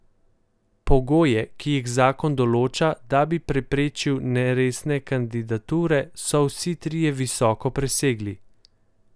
Pogoje, ki jih zakon določa, da bi preprečil neresne kandidature, so vsi trije visoko presegli.